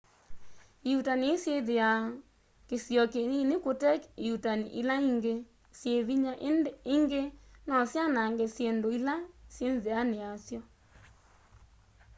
ĩuutani ii syithiwa kisio kinini kute ĩuutani ila ingi syi vinya ingi no syanange syindu ila syi nziani ya syo